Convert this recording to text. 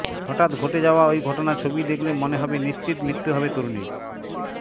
হঠাত ঘটে যাওয়া ওই ঘটনার ছবি দেখলে মনে হবে নিশ্চিত মৃত্যু হবে তরুণীর